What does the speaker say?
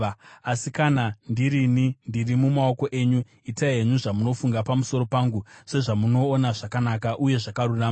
Asi kana ndirini, ndiri mumaoko enyu; itai henyu zvamunofunga pamusoro pangu sezvamunoona zvakanaka uye zvakarurama.